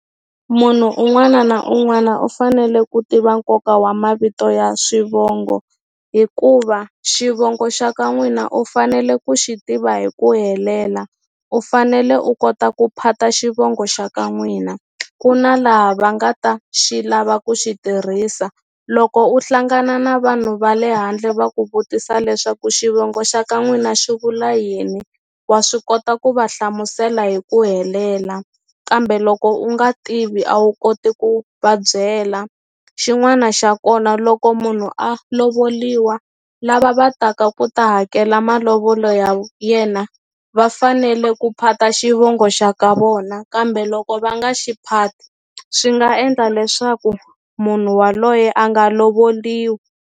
Munhu un'wana na un'wana u fanele ku tiva nkoka wa mavito ya swivongo hikuva xivongo xa ka n'wina u fanele ku xi tiva hi ku helela u fanele u kota ku phata xivongo xa ka n'wina ku na laha va nga ta xi lava ku xi tirhisa loko u hlangana na vanhu va le handle va ku vutisa leswaku xivongo xa ka n'wina xi vula yini wa swi kota ku va hlamusela hi ku helela kambe loko u nga tivi a wu koti ku va byela xin'wana xa kona loko munhu a lovoliwa lava va taka ku ta hakela malovolo ya yena va fanele ku phata xivongo xa ka vona kambe loko va nga xiphati swi nga endla leswaku munhu waloye a nga lovoliwi.